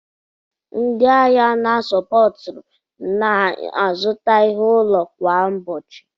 Ndị ahịa na Shopuraiti na-azụta ihe ụlọ kwa ụbọchị.